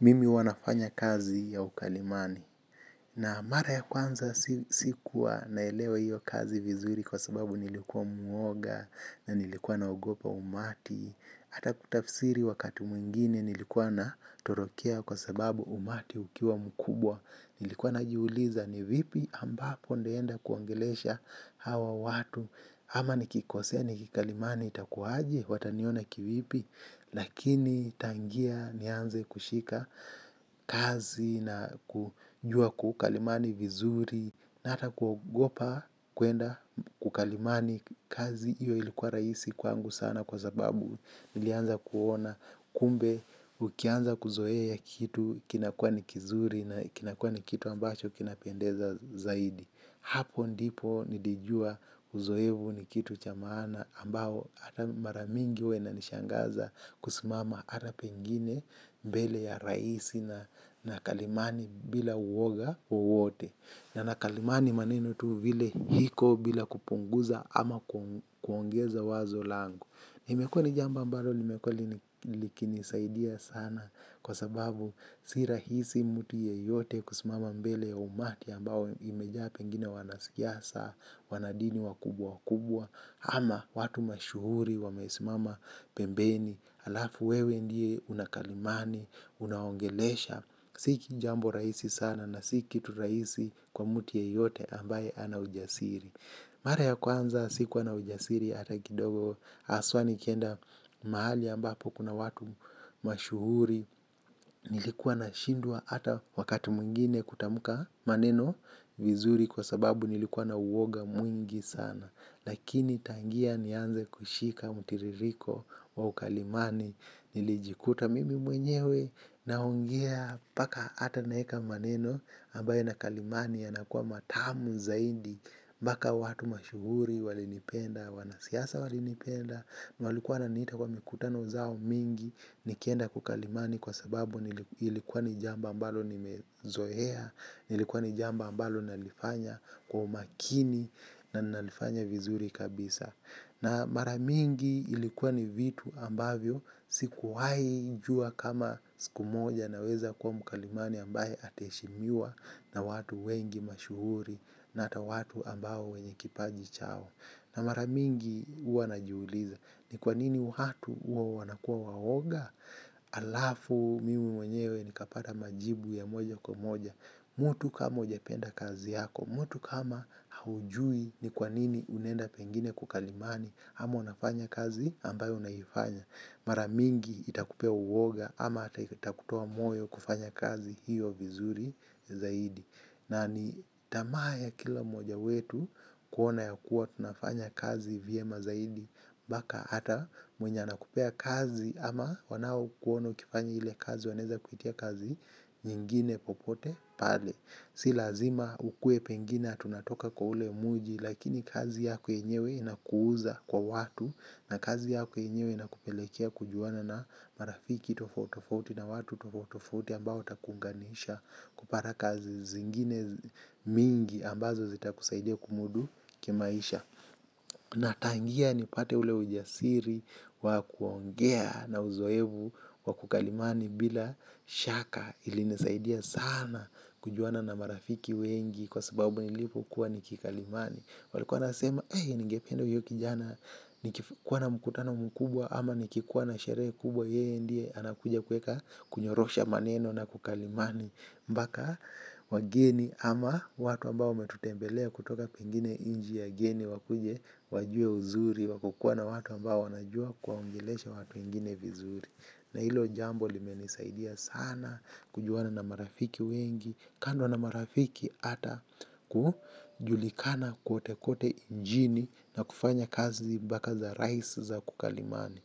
Mimi huwa nafanya kazi ya ukalimani na mara ya kwanza sikuwa naelewa hiyo kazi vizuri kwa sababu nilikuwa muoga na nilikuwa naogopa umati. Hata kutafisiri wakati mwingine nilikua na torokea kwa sababu umati ukiwa mkubwa. Nilikuwa na jiuliza ni vipi ambapo nitaenda kuongelesha hawa watu. Ama nikikosea ni kikalimani itakua aje? Wataniona kivipi. Lakini tangia nianze kushika kazi na kujua kukalimani vizuri na ata kuogopa kwenda kukalimani kazi iyo ilikuwa rahisi kwangu sana kwa sababu nilianza kuona kumbe. Ukianza kuzoea ya kitu kinakuwa ni kizuri na kinakuwa ni kitu ambacho kinapendeza zaidi. Hapo ndipo nilijua uzoefu ni kitu cha maana ambao ata mara mingi huwa inanishangaza kusimama ata pengine mbele ya rais na nakalimani bila uoga wowote. Na nakalimani maneno tu vile iko bila kupunguza ama kuongeza wazo langu. Limekuwa jambo ambalo limekuwa liki ni saidia sana kwa sababu si rahisi mtu yeyote kusimama mbele ya umati ambao imejaa pengine wanasiasa, wanadini wakubwa wakubwa, ama watu mashuhuri, wamesimama pembeni, alafu wewe ndiye unakalimani, unaongelesha, si jambo rahisi sana na si kitu rahisi kwa mtu yeyote ambaye hana ujasiri. Mara ya kwanza sikuwa na ujasiri ata kidogo haswa nikienda mahali ambapo kuna watu mashuhuri. Nilikuwa na shindwa ata wakati mwingine kutamka maneno vizuri kwa sababu nilikuwa na uoga mwingi sana. Lakini tangia nianze kushika mtiririko wa ukalimani nilijikuta mimi mwenyewe naongea mpaka ata naweka maneno ambayo na kalimani yana kuwa matamu zaidi. Mpaka watu mashuhuri walinipenda, wanasiasa walinipenda walikuwa wananiita kwa mikutano zao mingi nikienda kukalimani kwa sababu ilikuwa ni jambo ambalo nimezoea ilikuwa ni jambo ambalo nalifanya kwa umakini. Na nalifanya vizuri kabisa. Na mara mingi ilikuwa ni vitu ambavyo sikuwahi jua kama siku moja naweza kuwa mkalimani ambaye ata heshimiwa na watu wengi mashuhuri na hata watu ambao wenye kipaji chao. Na mara mingi huwa na jiuliza ni kwa nini watu huwa wanakuwa waoga. Alafu mimi mwenyewe nikapata majibu ya moja kwa moja. Mtu kama hujapenda kazi yako mttu kama haujui ni kwa nini unenda pengine kukalimani ama unafanya kazi ambayo unaifanya mara mingi itakupea uoga ama hata itakutoa moyo kufanya kazi hiyo vizuri zaidi na ni tamaa ya kila mmoja wetu kuona yakuwa tunafanya kazi vyema zaidi. Mpaka hata mwenye anakupea kazi ama wanao kuona ukifanya ile kazi waneza kuitia kazi. Nyingine popote pale si lazima ukue pengina ati unatoka kwa ule mji lakini kazi yako yenyewe inakuuza kwa watu na kazi yako yenyewe inakupelekea kujuana na marafiki tofauti tofauti na watu tofauti tofauti ambao watakuunganisha kupata kazi zingine mingi ambazo zita kusaidia kumudu kimaisha. Na tangia nipate ule ujasiri wa kuongea na uzoefu wa kukalimani bila shaka ilinisaidia sana kujuana na marafiki wengi kwa sababu nilipo kuwa nikikalimani. Walikuwa wanasema ningependa huyo kijana nikikuwa na mkutano mkubwa ama nikikuwa na sherehe kubwa yeye ndiye anakuja kuweka kunyorosha mamneno na kukalimani mpaka, wageni, ama watu ambao wametutembelea kutoka kwingine nchi ya geni, wakuje, wajue uzuri, wa kukuwa na watu ambao wanajua kuwaongelesha watu wengine vizuri. Na hilo jambo limenisaidia sana kujuana na marafiki wengi kando na marafiki ata kujulikana kote kote nchini na kufanya kazi mpaka za rais za kukalimani.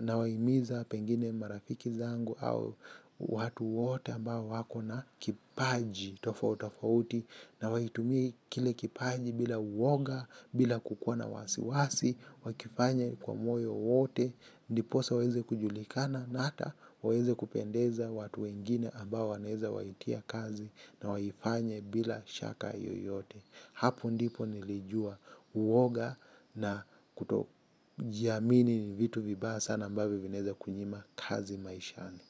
Na wahimiza pengine marafiki zangu au watu wote ambao wako na kipaji tofauti tofauti na waitumie kile kipaji bila uwoga bila kukuwa na wasi wasi wakifanya kwa moyo wote. Ndiposa waweze kujulikana na hata waweze kupendeza watu wengine ambao wanaweza waitia kazi na waifanye bila shaka yoyote hapo ndipo nilijua uoga na kuto jiamini ni vitu vibaya sana ambavyo vinaweza kunyima kazi maishani.